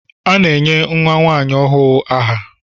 A na-enye nwa nwanyi ọhụụ aha.